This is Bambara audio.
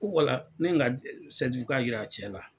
Ko wala ne n ka yira cɛ la.